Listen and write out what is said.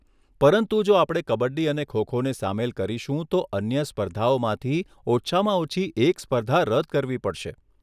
પરંતુ જો આપણે કબડ્ડી અને ખો ખોને સામેલ કરીશું તો અન્ય સ્પર્ધાઓમાંથી ઓછામાં ઓછી એક સ્પર્ધા રદ કરવી પડશે.